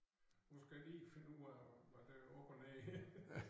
Nu skal jeg lige finde ud af hvad der er op og ned her